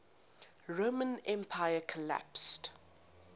roman empire collapsed